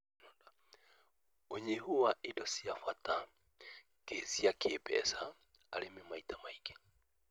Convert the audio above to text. ũnyihu wa indo cia bata cia kĩmbeca:arĩmi maita maingĩ